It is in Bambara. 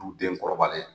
Du den kɔrɔbalen